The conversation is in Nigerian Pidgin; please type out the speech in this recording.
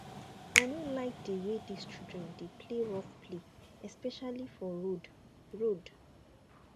i no dey like the way dis children dey play rough play especially for road road